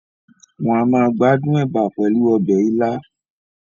Wọ́n a máa gbádùn ẹ̀bà pẹ̀lú ọbẹ̀ ilá